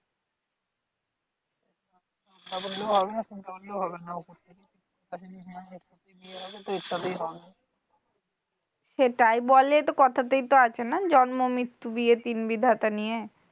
সেটাই বলে তো কথা তেই তো অছেনা? জন্ম মৃত্যু বিয়ে তিন বিধাতা নিয়ে।